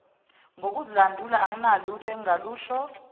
ngokuzilandula anginalutho engingalusho